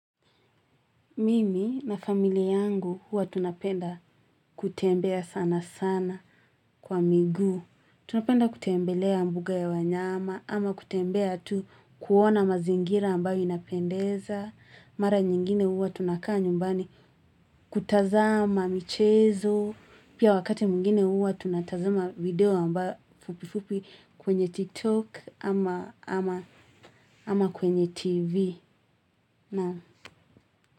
Mimi na familia yangu huwa tunapenda kutembea sana sana kwa miguu. Tunapenda kutembelea mbuga ya wanyama ama kutembea tu kuona mazingira ambayo inapendeza. Mara nyingine huwa tunakaa nyumbani kutazama, michezo. Pia wakati mwingine huwa tunatazama video ambayo fupi fupi kwenye TikTok ama kwenye TV.